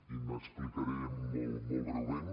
i m’explicaré molt breument